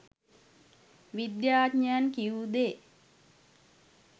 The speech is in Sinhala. විද්‍යාඥයන් කිවූ දේ